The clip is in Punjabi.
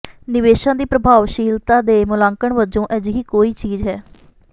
ਨਿਵੇਸ਼ਾਂ ਦੀ ਪ੍ਰਭਾਵਸ਼ੀਲਤਾ ਦੇ ਮੁਲਾਂਕਣ ਵਜੋਂ ਅਜਿਹੀ ਕੋਈ ਚੀਜ਼ ਹੈ